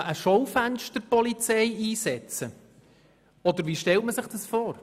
Soll eine Schaufensterpolizei eingesetzt werden oder wie stellen Sie sich das vor?